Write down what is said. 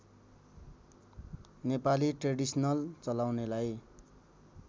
Nepali traditional चलाउनेलाई